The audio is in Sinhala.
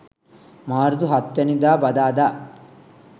මාර්තු 07 වැනි දා බදාදා